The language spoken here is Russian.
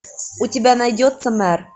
у тебя найдется мэр